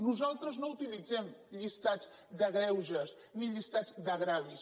nosaltres no utilitzem llistats de greuges ni llistats d’ agravis